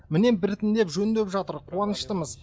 міне біртіндеп жөндеп жатыр қуаныштымыз